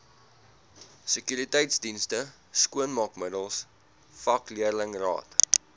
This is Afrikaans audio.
sekuriteitsdienste skoonmaakmiddels vakleerlingraad